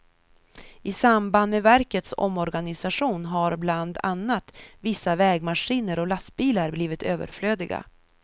I samband med verkets omorganisation har bland annat vissa vägmaskiner och lastbilar blivit överflödiga.